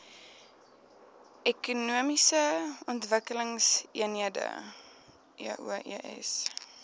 ekonomiese ontwikkelingseenhede eoes